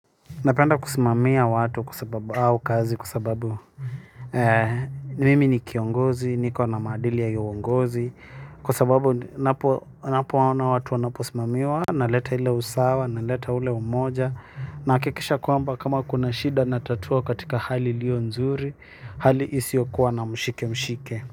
Napenda kusimamia watu kwa sababu au kazi kwa sababu mimi ni kiongozi, niko na maadili ya iyo uongozi. Kwa sababu unapoona watu wanaposimamiwa naleta ile usawa, naleta ule umoja. Nahakikisha kwamba kama kuna shida natatua katika hali iliyo nzuri. Hali isiyokuwa na mshike mshike.